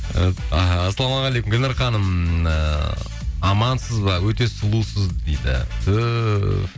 і ассалаумағалейкум гүлнұр ханым ыыы амансыз ба өте сұлусыз дейді түһ